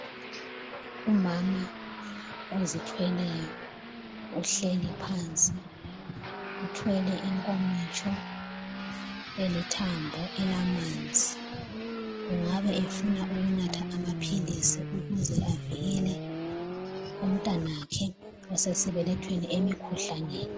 Umama ozithweleyo uhleli phansi, uthwele inkomitsho elithambo elamanzi engabe efuna ukunatha amaphilisi ukuze avikele umntwanakhe osesibelethweni emikhuhlaneni.